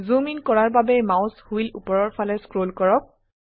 জুম in কৰাৰ বাবে mouse wheel উপৰৰ ফালে স্ক্ৰল কৰক